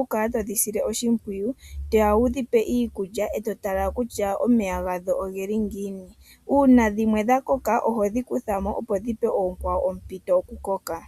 oku kala todhi sile oshimpwiyu, toya wudhi pe iikulya e to tala kutya omeya gadho ogeli ngiini. Uuna dhimwe dha koka ohodhi kutha mo opo dhi pe oonkwawo ompito yo ku koka.